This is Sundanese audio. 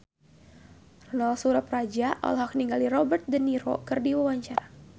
Ronal Surapradja olohok ningali Robert de Niro keur diwawancara